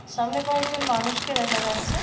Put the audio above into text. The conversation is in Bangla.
সামনে কয়েকজন মানুষকে দেখা যাচ্ছে।